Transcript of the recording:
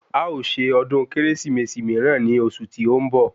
A o ṣe ọdún Kérésìmesì míràn ní oṣù tí ó ń bọ̀